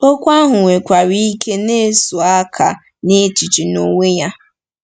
Okwu ahụ nwekwara ike na-ezo aka n'echiche n'onwe ya.